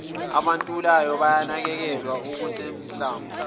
abentulayo bayanakekelwa okusanhlamvu